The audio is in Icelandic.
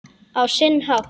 Á sinn hátt.